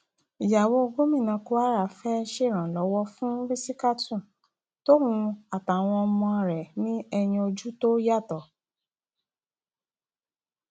ìyàwó gómìnà kwara fẹẹ ṣèrànlọwọ fún rìsítákù tòun àtàwọn ọmọ rẹ ní ẹyìn ojú tó yàtọ